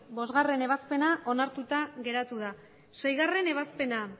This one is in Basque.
bostgarrena ebazpena onartuta geratu da seigarrena ebazpena